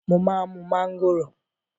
Mo má ń mú mángòrò.